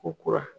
Ko kura